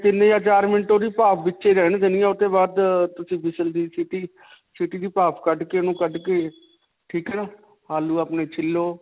ਤਿੰਨ ਜਾਂ ਚਾਰ minute ਓਹਦੀ ਭਾਫ ਵਿੱਚੇ ਹੀ ਰਹਿਣ ਦੇਣੀ ਹੈ. ਉਸ ਤੋਂ ਬਾਅਦ ਓਹਦੀ whistle ਦੀ ਸਿਟੀ ਸੀਟੀ ਦੀ ਭਾਫ ਕੱਡ ਕੇ, ਉਹਨੂੰ ਕੱਡ ਕੇ, ਠੀਕ ਹੈ. ਆਲੂ ਆਪਣੇ ਛਿੱਲੋ.